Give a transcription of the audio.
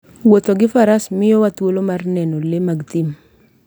Wuotho gi Faras miyowa thuolo mar neno le mag thim.